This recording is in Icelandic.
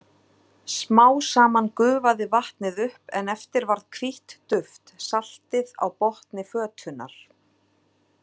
Smá saman gufaði vatnið upp en eftir varð hvítt duft, saltið, á botni fötunnar.